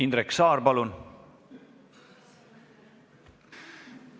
Indrek Saar, palun!